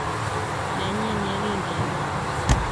Nenyi ye kingebeel.